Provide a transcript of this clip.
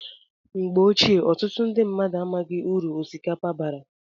Mgbe ochie ọtụtụ mmadụ amaghị uru osikapa bara